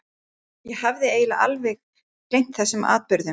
Ég hafði eiginlega alveg gleymt þessum atburðum.